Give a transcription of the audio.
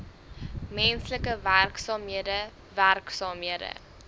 menslike werksaamhede werksaamhede